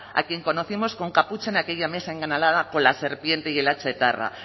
a quien conocimos con capucha en aquella mesa engalanada con la serpiente y el hacha etarra